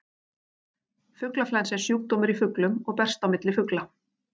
Fuglaflensa er sjúkdómur í fuglum og berst á milli fugla.